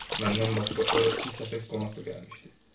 Məndən başqa ora iki səfək qonaq da gəlmişdi.